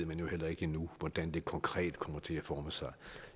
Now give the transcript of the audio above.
ved jo heller ikke endnu hvordan det konkret kommer til at forme sig